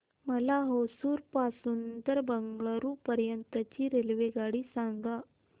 मला होसुर पासून तर बंगळुरू पर्यंत ची रेल्वेगाडी सांगा